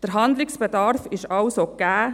Der Handlungsbedarf ist also gegeben.